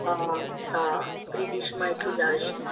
હા આ free-dish માં એટલુજ આવે છે